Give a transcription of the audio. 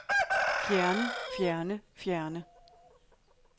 fjerne fjerne fjerne